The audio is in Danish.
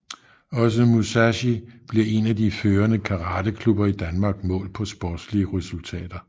Også Musashi bliver en af de førende karateklubber i Danmark målt på sportslige resultater